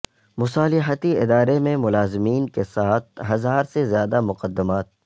مصالحتی ادارے میں ملازمین کے سات ہزار سے زیادہ مقدمات